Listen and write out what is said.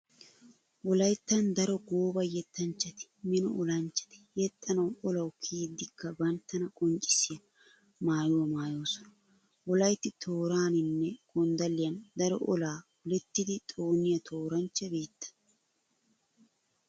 Wolayttan daro gooba yettanchchati mino olanchchati yexxanawu olawu kiyiiddikka banttana qonccissiya maayuwa maayoosona. Wolaytti tooraaninne gonddalliyan daro olaa olettidi xooniya tooranchcha biitta.